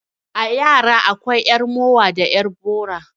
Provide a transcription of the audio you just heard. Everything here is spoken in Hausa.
A yara akwai 'yar mowa da 'yar bora.